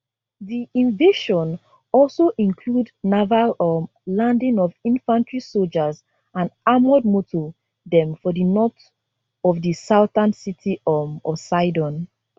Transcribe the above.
di invasion also include naval um landing of infantry sojas and armoured moto dem for di north of di southern city um of sidon